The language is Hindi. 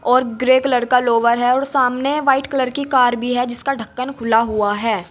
और ग्रे कलर का लोअर है और सामने व्हाइट कलर की कार भी है जिसका ढक्कन खुला हुआ है।